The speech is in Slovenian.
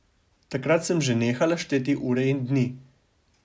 Takrat sem že nehala šteti ure in dni.